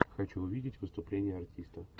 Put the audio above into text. хочу увидеть выступление артиста